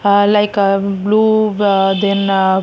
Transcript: uh like ah blue uh then --